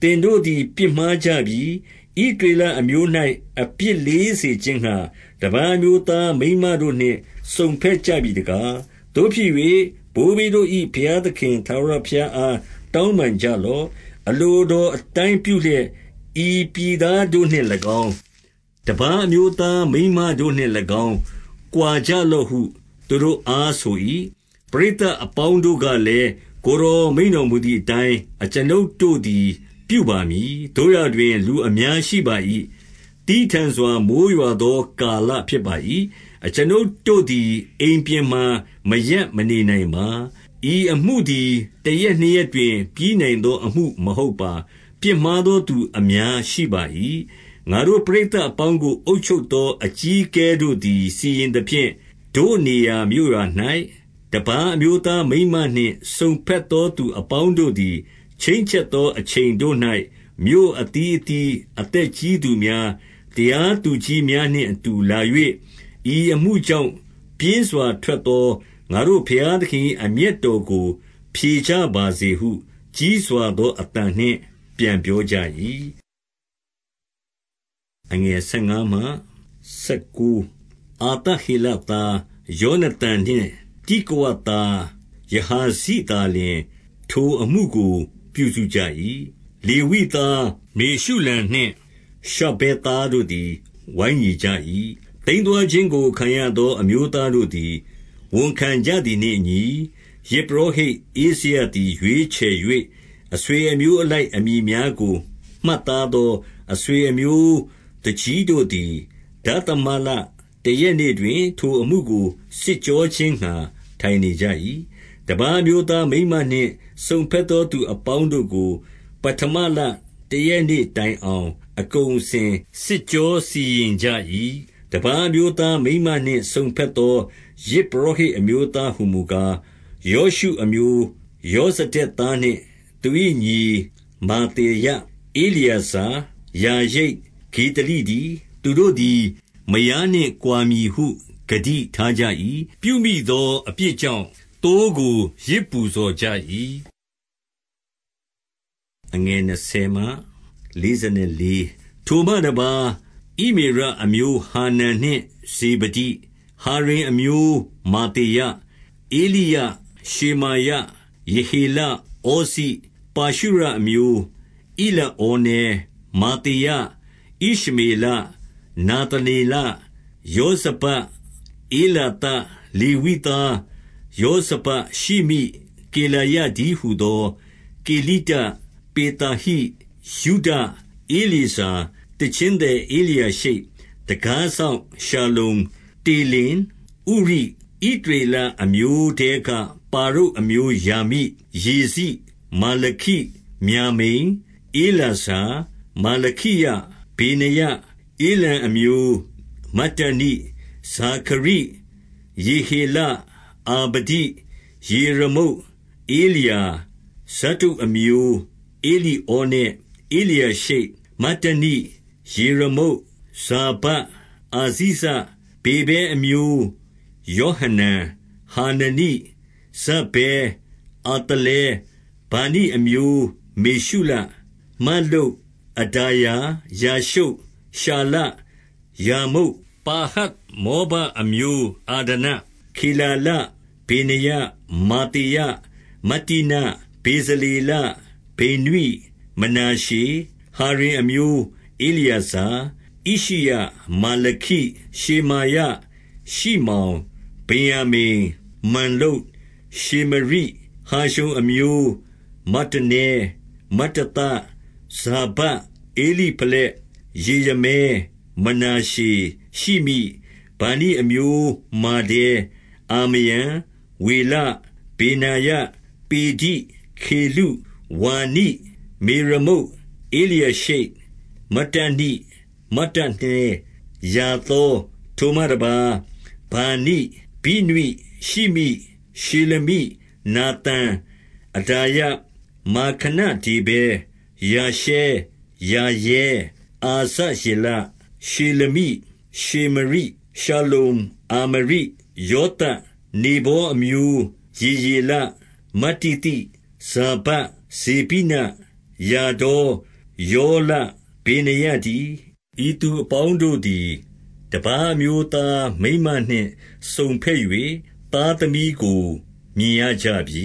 သင်တို့သည် ပြစ်မှားကြပြီ။ ဣသရေလအမျိုး၌ အပြစ် လေးစေခြင်းငှါ တပါးအမျိုးသား မိန်းမတို့နှင့် စုံဘက်ကြ ပြီတကား။ သို့ဖြစ်၍ ဘိုးဘေးတို့၏ ဘုရားသခင် ထာဝရ ဘုရားအား တောင်းပန်ကြလော့။ အလိုတော်အတိုင်း ပြုလျက်၊ ဤပြည်သားတို့နှင့်၎င်း၊ တပါးအမျိုးသားမိန်းမ တို့နှင့်၎င်း ကွာကြလော့ဟု သူတို့အား ဆို၏။ ပရိသတ်အပေါင်းတို့ကလည်း၊ ကိုယ်တော် မိန့်တော်မူသည်အတိုင်း အကျွန်ုပ်တို့သည် ပြုပါမည်။ သို့ရာတွင် လူအများရှိပါ၏။ သည်းထန်စွာ မိုဃ်း ရွာသော ကာလဖြစ်ပါ၏။ အကျွန်ုပ်တို့သည် အိမ်ပြင်မှာ မရပ်မနေနိုင်ပါ။ ဤအမှုသည် တရက်နှစ်ရက်တွင် ပြီးနိုင် သော အမှုမဟုတ်ပါ။ ပြစ်မှားသောသူ အများရှိပါ၏။ ငါတို့ ပရိသတ်အပေါင်းကို အုပ်ချုပ်သော အကြီးအကဲတို့သည် စီရင်သဖြင့်၊ တို့နေရာမြို့ရွာ၌ တပါး အမျိုးသားမိန်းမနှင့် စုံဘက်သော သူအပေါင်းတို့သည် ခြိန်းချက်သောအချိန်တို့၌ မြို့အသီးသီးအသက်ကြီး သူများ၊ တရားသူကြီးများနှင့် အတူလာ၍ ဤအမှုကြောင့် ပြင်းစွာ ထွက်သောငါတို့ ဘုရားသခင်၏ အမျက်တော်ကို ဖြေကြပါစေဟု ကြီးစွာသောအသံနှင့် ပြန်ပြောကြ၏။ အာသဟေလသား ယောနသန်နှင့် တိကဝသား ယဟာဇိသာလျှင် ထိုအမှုကိုပြုစုကြ၏။ လေဝိသား မေရှုလံနှင့် ရှဗ္ဗသဲတို့သည် ဝိုင်းညီကြ၏။ သိမ်းသွားခြင်းကို ခံရသော အမျိုးသားတို့သည် ဝန်ခံကြသည်နှင့်အညီ၊ ယဇ်ပုရောဟိတ်ဧဇရသည် ရွေး ချယ်၍ အဆွေအမျိုးအလိုက် အမည်များကို မှတ်သား သော အဆွေအမျိုးသူကြီးတို့သည် ဒသမလတရက်နေ့ တွင် ထိုအမှုကို စစ်ကြောခြင်းငှါ ထိုင်နေကြ၏။ တပါးအမျိုးသား မိန်းမနှင့်စုံဘက်သောသူ အပေါင်းတို့ကို ပဌမလတရက်နေ့တိုင်အောင် အကုန် အစင် စစ်ကြောစီရင်ကြ၏။ တပါးအမျိုးသားမိန်းမနှင့် စုံဘက်သော ယဇ် ပုရောဟိတ်အမျိုးသားဟူမူကား၊ ယောရှုအမျိုး ယောဇ ဒက်သားနှင့် သူ၏ညီ မာသေယ၊ ဧလျေဇာ၊ ယာရိပ်၊ ဂေဒလိတည်း။ သူတို့သည် မယားနှင့်ကွာမည်ဟု ဂတိထားကြ ၏။ ပြုမိသော အပြစ်ကြောင့် သိုးကိုယဇ်ပူဇော်ကြ၏။ ထိုမှတပါး၊ ဣမေရအမျိုး ဟာနန်နှင့် ဇေဗဒိ၊ ဟာရိမ်အမျိုး မာသေယ၊ ဧလိယ၊ ရှေမာယ၊ ယေဟေလ၊ ဩဇိ၊ ပါရှုရအမျိုး ဧလိဩနဲ၊ မာသေယ၊ ဣရှ မေလ၊ နာသနေလ၊ ယောဇဗဒ်၊ ဧလာသ။ လေဝိသားယောဇဗဒ်၊ ရှိမိ၊ ကေလာယတည်း ဟူသော ကေလိတ၊ ပေသာဟိ၊ ယုဒ၊ ဧလျေဇာ၊ သီချင်းသည် ဧလျာရှိပ်၊ တံခါးစောင့် ရှလ္လုံ၊ တေလင်၊ ဥရိ၊ ဣသရေလအမျိုးထဲက ပါရုတ်အမျိုးရာမိ၊ ယေဇိ၊ မာလခိ၊ မျာမိန်၊ ဧလာဇာ၊ မာလခိယ၊ ဗေနာယ၊ ဧလံအမျိုးမတ္တနိ၊ ဇာခရိ၊ ယေဟေလ၊ အာဗဒိ၊ ယေရမုတ်၊ ဧလျာ၊ ဇတ္တုအမျိုး ဧလိဩနဲ၊ ဧလျာရှိပ်၊ မတ္တနိ၊ ယေရမုတ်၊ ဇာဗဒ်၊ အာဇိဇ၊ ဗေဗဲအမျိုးယောဟနန်၊ ဟာနနိ၊ ဇဗ္ဗဲ၊ အာသလဲ၊ ဗာနိအမျိုးမေရှုလ၊ မလ္လုတ်၊ အဒါယ၊ ယာရှုပ်၊ ရှာလ၊ ရာမုတ်၊ ပါဟတ်မောဘ အမျိုးအဒန၊ ခေလာလ၊ ဗေနာယ၊ မာသေယ၊ မတ္တနိ၊ ဗေဇလေလ၊ ဗိနွိ၊ မနာရှေ၊ ဟာရိမ်အမျိုးဧလျေဇာ၊ ဣရှိယ၊ မာလခိ၊ ရှေမာယ၊ ရှိမောင်၊ ဗင်္ယာမိန်၊ မလ္လုတ်၊ ရှေမရိ၊ ဟာရှုံအမျိုးမတ္တနဲ၊ မတ္တသ၊ ဇာဗဒ်၊ ဧလိဖလက်၊ ယေရမဲ၊ မာနရှေ၊ ရှိမိ၊ ဟာရှုံအမျိုးမတ္တနဲ၊ မတ္တသ၊ ဇာဗဒ်၊ ဧလိဖလက်၊ ယေရမဲ၊ မာနရှေ၊ ရှိမိ၊ ဗာနိအမျိုးမာဒဲ၊ အာမရံ၊ ဝေလ၊ ဗေနာယ၊ ပေဒိ၊ ခေလု၊ ဝါနိ၊ မေရမုတ်၊ ဧလျာရှိပ်၊ မတ္တနိ၊ မတ္တနဲ၊ ယာသော၊ ဝါနိ၊ မေရမုတ်၊ ဧလျာရှိပ်၊ မတ္တနိ၊ မတ္တနဲ၊ ယာသော၊ ထိုမှတပါး၊ ဗာနိ၊ ဗိနွိ၊ ရှိမိ၊ ထိုမှတပါး၊ ဗာနိ၊ ဗိနွိ၊ ရှိမိ၊ ရှေလမိ၊ နာသန်၊ အဒါယ၊ မာခနဒေဗဲ၊ ရှာရဲ၊ ရှာရဲ၊ ရှေလမိ၊ နာသန်၊ အဒါယ၊ မာခနဒေဗဲ၊ ရှာရဲ၊ ရှာရဲ၊ အာဇရေလ၊ ရှေလမိ၊ ရှေမရိ၊ ရှလ္လုံ၊ အာမရိ၊ ယောသပ်၊ နေဗောအမျိုး ယေယေလ၊ မတ္တိသိ၊ ဇာဗဒ်၊ ဇေဗိန၊ ယာဒေါ၊ ယောလ၊ ဗေနာယတည်း။ နေဗောအမျိုး ယေယေလ၊ မတ္တိသိ၊ ဇာဗဒ်၊ ဇေဗိန၊ ယာဒေါ၊ ယောလ၊ ဗေနာယတည်း။ ဤသူ အပေါင်းတို့သည် တပါးအမျိုးသား မိန်းမနှင့် စုံဘက်၍ သားသမီးကို မြင်ရကြပြီ